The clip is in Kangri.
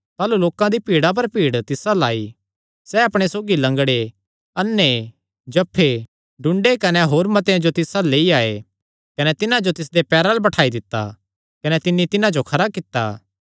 ताह़लू लोकां दी भीड़ा पर भीड़ तिस अल्ल आई सैह़ अपणे सौगी लंगड़े अन्ने जफ्फे टुंडे कने होर मतेआं जो तिस अल्ल लेई आये कने तिन्हां जो तिसदेयां पैरां अल्ल बठाई दित्ता कने तिन्नी तिन्हां जो खरा कित्ता